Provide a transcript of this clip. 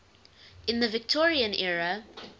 in the victorian era